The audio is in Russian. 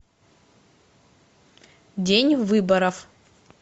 день выборов